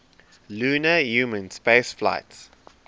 lunar human spaceflights